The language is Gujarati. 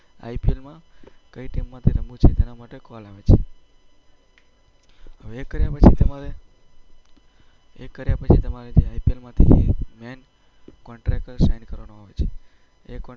IPL માં કઈ ટીમમાં રમવું છે તેના માટે કોલ આવે છે. હવે એ કર્યા પછી તમારે જે મેઈન કોન્ટ્રાક્ટ પર સાઈન કરવાનું આવે છે.